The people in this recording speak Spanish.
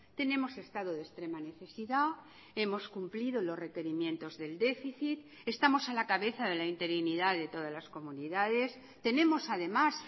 tenemos estado de extrema necesidad hemos cumplido los requerimientos del déficit estamos a la cabeza de la interinidad de todas las comunidades tenemos además